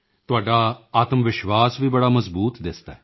ਤੁਹਾਡਾ ਆਤਮਵਿਸ਼ਵਾਸ ਵੀ ਬੜਾ ਮਜ਼ਬੂਤ ਦਿਸਦਾ ਹੈ